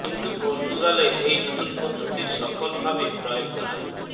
কিন্তু পর্তুগালে এই নতুন পদ্ধতির সফল ভাবে প্রয়োগ করা